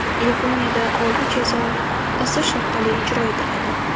Yaponiyada oliy jazo osish orqali ijro etiladi.